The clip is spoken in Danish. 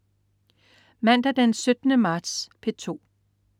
Mandag den 17. marts - P2: